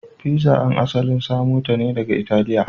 Pizza an asalin samo ta daga Italiya.